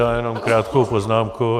Já jenom krátkou poznámku.